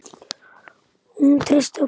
Og hún treysti okkur.